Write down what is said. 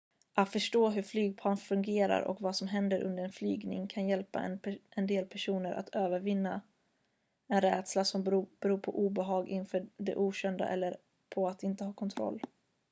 att förstå hur flygplan fungerar och vad som händer under en flygning kan hjälpa en del personer att övervinna en rädsla som beror på obehag inför det okända eller på att inte ha kontroll